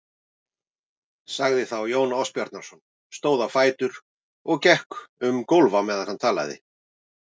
sagði þá Jón Ásbjarnarson, stóð á fætur og gekk um gólf á meðan hann talaði